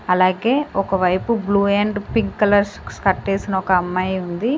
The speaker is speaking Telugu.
అలాగే ఒక వైపు blue and pink colours skirt ఏసిన ఒక అమ్మాయి ఉంది.